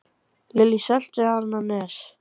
Lillý: Seltjarnarnes?